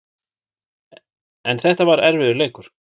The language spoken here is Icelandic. En þetta var erfiður leikur